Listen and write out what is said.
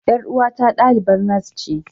Yar uwata dalibar nas ce.